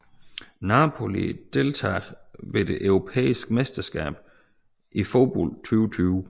Napoli Deltagere ved det europæiske mesterskab i fodbold 2020